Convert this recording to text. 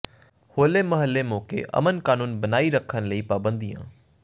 ਹੋਲੇ ਮਹੱਲੇ ਮੌਕੇ ਅਮਨ ਕਾਨੂੰਨ ਬਣਾਈ ਰੱਖਣ ਲਈ ਪਾਬੰਦੀਆਂ